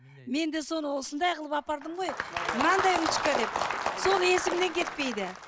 мен де соны осындай қылып апардым ғой мынандай ручка деп соны есімнен кетпейді